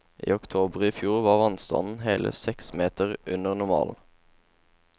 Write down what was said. I oktober i fjor var vannstanden hele seks meter under normalen.